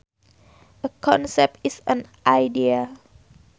A concept is an idea